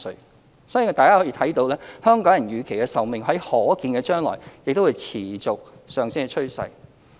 我相信大家也看到，香港人的預期壽命在可見的將來有持續上升的趨勢。